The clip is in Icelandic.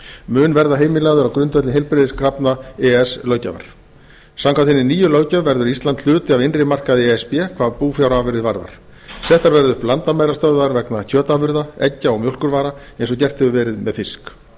mun verða heimilaður á grundvelli heilbrigðiskrafna e e s löggjafar samkvæmt hinni nýju löggjöf verður ísland hluti af innri markaði e s b hvað búfjárafurðir varðar settar verða upp landamærastöðvar vegna kjötafurða eggja og mjólkurvara eins og gert hefur verið með fisk í öðru